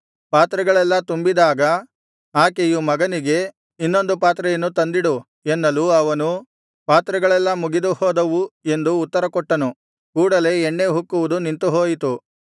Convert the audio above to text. ಪಾತ್ರೆಗಳೆಲ್ಲಾ ತುಂಬಿದಾಗ ಆಕೆಯು ಮಗನಿಗೆ ಇನ್ನೊಂದು ಪಾತ್ರೆಯನ್ನು ತಂದಿಡು ಎನ್ನಲು ಅವನು ಪಾತ್ರೆಗಳೆಲ್ಲ ಮುಗಿದು ಹೋದವು ಎಂದು ಉತ್ತರಕೊಟ್ಟನು ಕೂಡಲೇ ಎಣ್ಣೆ ಉಕ್ಕುವುದು ನಿಂತುಹೋಯಿತು